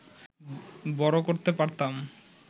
বড় করতে পারতাম